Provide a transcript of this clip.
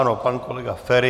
Ano, pan kolega Feri.